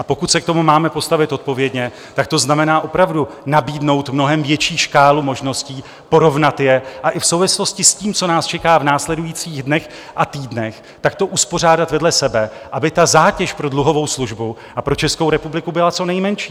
A pokud se k tomu máme postavit odpovědně, tak to znamená opravdu nabídnout mnohem větší škálu možností, porovnat je a i v souvislosti s tím, co nás čeká v následujících dnech a týdnech, tak to uspořádat vedle sebe, aby ta zátěž pro dluhovou službu a pro Českou republiku byla co nejmenší.